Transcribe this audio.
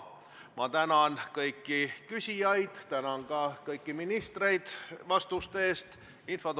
Ma tänan kõiki küsijaid ja tänan ka kõiki ministreid vastuste eest!